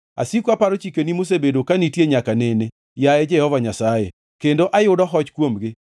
Asiko aparo chikeni mosebedo ka nitie nyaka nene, yaye Jehova Nyasaye, kendo ayudo hoch kuomgi.